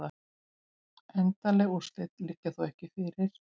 Endanleg úrslit liggja þó ekki fyrir